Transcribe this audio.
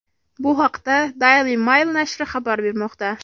Bu haqda Daily Mail nashri xabar bermoqda .